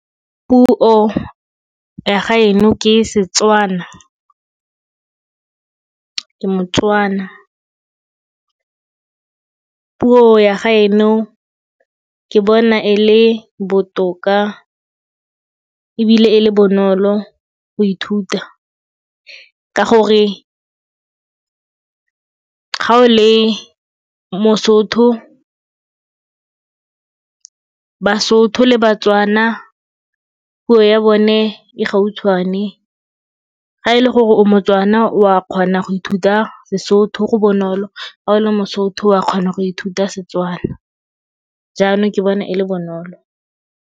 Puo ya gaeno ke Setswana, ke moTswana. Puo ya gaeno ke bona e le botoka ebile e le bonolo go ithuta ka gore ga o le moSotho, baSotho le baTswana, puo ya bone e gautshwane ga e le gore o moTswana o a kgona go ithuta Sesotho go bonolo, ga o le moSotho wa kgona go ithuta Setswana, jaanong ke bona e le bonolo.